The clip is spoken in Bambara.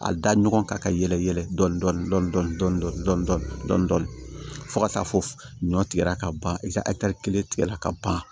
A da ɲɔgɔn kan ka yɛlɛ yɛlɛ dɔn fo ka taa fɔ ɲɔ tigɛ ka ban i ka kelen tigɛra ka ban